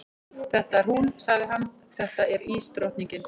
Þetta er hún, sagði hann, þetta er ísdrottningin.